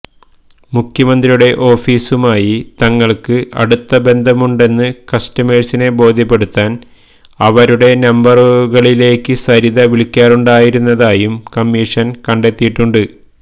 മുഖ്യമന്ത്രിയുടെ ഓഫീസുമായി തങ്ങള്ക്ക് അടുത്ത ബന്ധമുണ്ടെന്ന് കസ്റ്റമേഴ്സിനെ ബോധ്യപ്പെടുത്താന് ഇവരുടെ നമ്പറുകളിലേക്ക് സരിത വിളിക്കാറുണ്ടായിരുന്നതായും കമ്മീഷന് കണ്ടെത്തിയിട്ടുണ്ട്